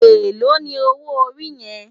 Éló ni ówó óri yèn?